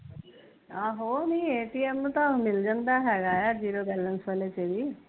ਆਹੋ ਨਹੀਂ ਐਟੀਐਮ ਤਾਂ ਮਿਲ ਜਾਂਦਾ ਹੈਗਾ ਐ ਜ਼ੀਰੋ ਬੈਲੰਸ ਵਾਲੇ ਤੇ ਵੀ